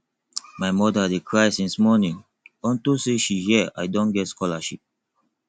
my mother dey cry since morning unto say she hear i don get scholarship